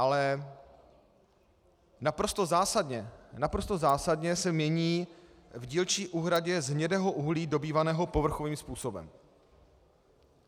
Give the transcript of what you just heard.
Ale naprosto zásadně se mění v dílčí úhradě z hnědého uhlí dobývaného povrchovým způsobem.